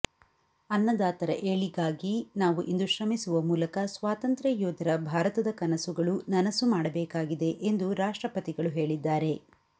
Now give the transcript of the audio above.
ಅನ್ನದಾತರ ಏಳಿಗಾಗಿ ನಾವು ಇಂದು ಶ್ರಮಿಸುವ ಮೂಲಕ ಸ್ವಾತಂತ್ರ್ಯ ಯೋಧರ ಭಾರತದ ಕನಸುಗಳು ನನಸು ಮಾಡಬೇಕಾಗಿದೆ ಎಂದು ರಾಷ್ಟ್ರಪತಿಗಳು ಹೇಳಿದ್ದಾರೆ